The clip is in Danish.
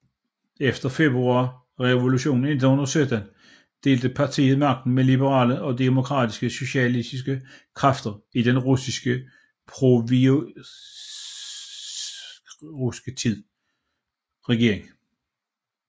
Efter Februarrevolutionen i 1917 delte partiet magten med andre liberale og demokratiske socialistiske kræfter i den russiske provisoriske regering